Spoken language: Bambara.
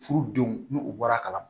Furudenw n'u bɔra kalama